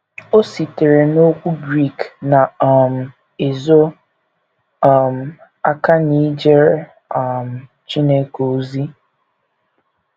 O sitere n’okwu Grik na - um ezo um aka n’ijere um Chineke ozi.